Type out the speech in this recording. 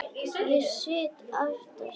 Ég sit aftast.